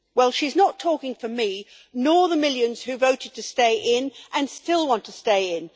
Well, she's not talking for me, nor the millions who voted to stay in and still want to stay in.